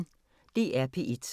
DR P1